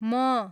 म